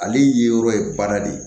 Ale ye yɔrɔ ye baara de ye